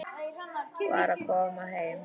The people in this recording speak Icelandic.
Var að koma heim.